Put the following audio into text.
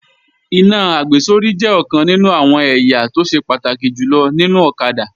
Iná àgbésórí jẹ́ ọ̀kan nínú àwọn ẹ̀yà tó ṣe pàtàkì jùlọ nínú ọ̀kadà